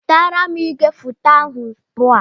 Wetara m igwefoto ahụ ugbu a!